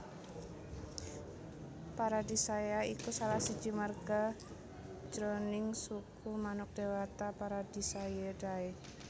Paradisaea iku salah siji marga jroning suku manuk déwata Paradisaeidae